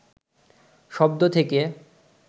শব্দ থেকে